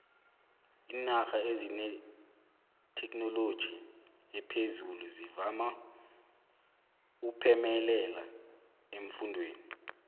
iinarha ezinethekhinoloji ephezulu zivama uphemelela eemfundeni